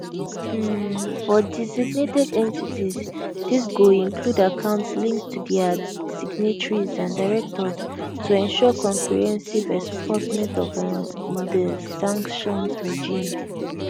um for designated entities dis go include accounts linked to dia signatories and directors to ensure comprehensive enforcement of um di sanctions regime